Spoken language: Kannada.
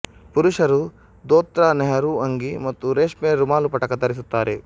ಪುರುಷರು ದೋತ್ರ ನೆಹರು ಅಂಗಿ ಮತ್ತು ರೇಷ್ಮೆ ರುಮಾಲುಪಟಕ ಧರಿಸುತ್ತಾರೆ